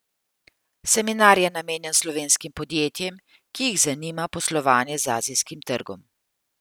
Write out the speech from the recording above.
Seminar je namenjen slovenskim podjetjem, ki jih zanima poslovanje z azijskim trgom.